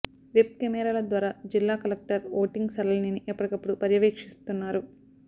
web కెమెరాల ద్వారా జిల్లా కలెక్టర్ ఓటింగ్ సరళిని ఎప్పటికప్పుడు పర్యవేక్షిస్తున్నారు